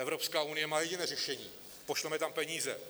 Evropská unie má jediné řešení: pošleme tam peníze.